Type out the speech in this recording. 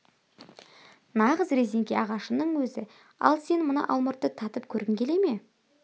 нағыз резеңке ағашының өзі ал сен мына алмұртты татып көргің келе ме